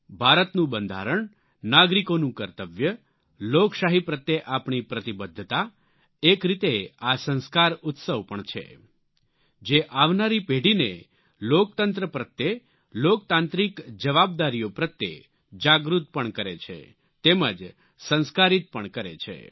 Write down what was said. ભારતનું બંધારણ નાગરિકોનું કર્તવ્ય લોકશાહી પ્રત્યે આપણી પ્રતિબદ્ધતા એક રીતે આ સંસ્કાર ઉત્સવ પણ છે જે આવનારી પેઢીને લોકતંત્ર પ્રત્યે લોકતાંત્રિક જવાબદારીઓ પ્રત્યે જાગૃત પણ કરે છે તેમજ સંસ્કારીત પણ કરે છે